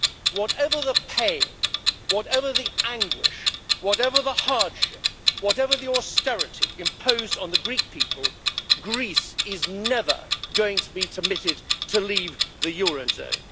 Whatever the pain, whatever the anguish, whatever the hardship, whatever the austerity imposed on the Greek people, Greece is never going to be permitted to leave the eurozone.